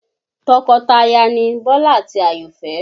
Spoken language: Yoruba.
Tọkọtaya ni Bọ́lá àti Àyọ̀fẹ́